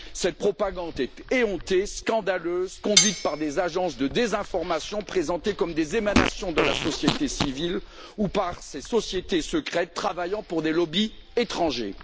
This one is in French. Cette propagande est éhontée, scandaleuse, conduite par des agences de désinformation présentées comme des émanations de la société civile ou par ces sociétés secrètes travaillant pour des lobbies étrangers.